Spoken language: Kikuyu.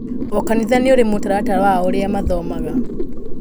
O kanitha nĩ ũrĩ mũtaratara wa ũrĩa mathomaga